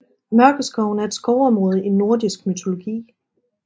Mørkeskoven er et skovområde i nordisk mytologi